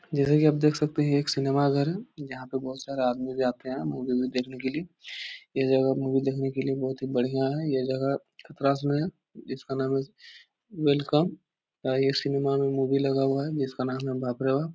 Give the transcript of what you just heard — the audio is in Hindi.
जैसे कि आप देख सकते हैं यह एक सिनेमा घर है यहाँ पर बहुत सारे आदमी भी आते हैं मूवी - वूवी देखने के लिए यह जगह मूवी देखने के लिए बहुत ही बढ़िया है यह जगह प्रास में है इसका नाम है वेलकम आई.ए. सिनेमा में मूवी लगा हुआ है जिसका नाम है बाप रे बाप ।